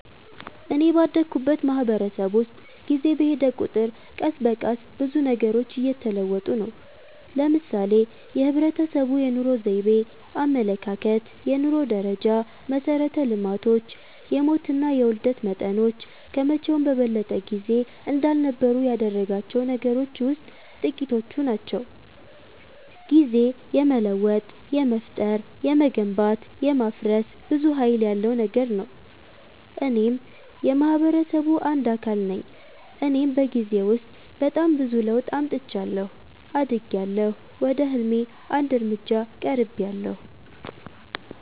እኔ ባደኩበት ማህበረሰብ ውስጥ ጊዜ በሔደ ቁጥር ቀስ በቀስ ብዙ ነገሮች እየተለወጡ ነው። ለምሳሌ የህብረተሰቡ የኑሮ ዘይቤ፣ አመለካከት፣ የኑሮ ደረጃ፣ መሠረተ ልማቶች፣ የሞትና የውልደት መጠኖች ከመቼውም በበለጠ ጊዜ እንዳልነበሩ ያደረጋቸው ነገሮች ውሥጥ ጥቂቶቹ ናቸው። ጊዜ የመለወጥ፣ የመፍጠር፣ የመገንባት፣ የማፍረስ ብዙ ሀይል ያለው ነገር ነው። እኔም የማህበረሰቡ አንድ አካል ነኝ እኔም በጊዜ ውስጥ በጣም ብዙ ለውጥ አምጥቻለሁ። አድጊያለሁ፣ ወደ ህልሜ አንድ እርምጃ ቀርቤያለሁ።